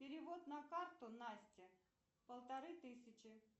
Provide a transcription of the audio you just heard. перевод на карту насте полторы тысячи